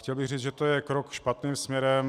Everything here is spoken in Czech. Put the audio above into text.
Chtěl bych říct, že to je krok špatný směrem.